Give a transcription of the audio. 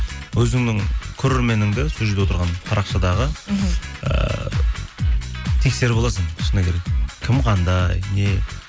өзіңнің көрерменіңді сол жерде отырған парақшадағы мхм ыыы тексеріп аласың шыны керек кім қандай не